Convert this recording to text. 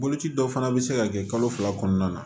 Boloci dɔw fana bɛ se ka kɛ kalo fila kɔnɔna na